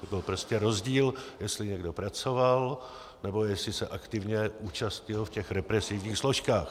To byl prostě rozdíl, jestli někdo pracoval, nebo jestli se aktivně účastnil v těch represivních složkách.